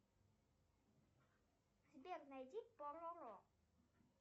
сбер найди пороро